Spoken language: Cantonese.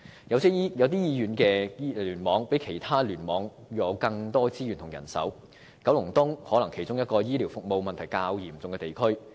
有些醫院聯網比其他聯網有更多資源和人手，九龍東可能是其中一個醫療服務問題較嚴重的地區。